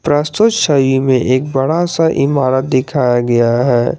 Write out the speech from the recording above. प्रस्तुत छवि में एक बड़ा सा इमारत दिखाया गया है।